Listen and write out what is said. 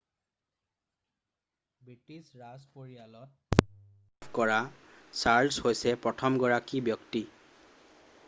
British ৰাজ পৰিয়ালত degree লাভ কৰা চাৰ্লছ হৈছে প্ৰথমগৰাকী ব্যক্তি